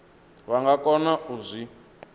vha nga kona u zwi